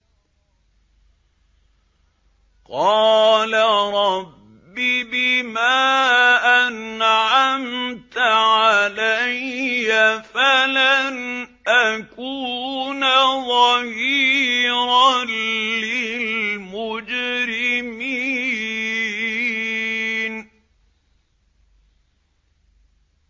قَالَ رَبِّ بِمَا أَنْعَمْتَ عَلَيَّ فَلَنْ أَكُونَ ظَهِيرًا لِّلْمُجْرِمِينَ